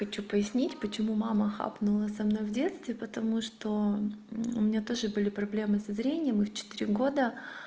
хочу пояснить почему мама хапнула со мной в детстве потому что у меня тоже были проблемы со зрением и в четыре года